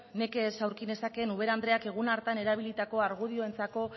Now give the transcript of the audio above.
nekez aurki nezakeen ubera andreak egun hartan erabilitako argudioentzako